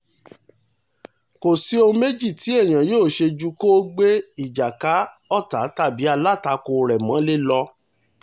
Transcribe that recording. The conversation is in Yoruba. kò sí ohun méjì tí èèyàn yóò ṣe ju kó gbé ìjà ka ọ̀tá tàbí alátakò rẹ̀ mọ́lẹ̀ lọ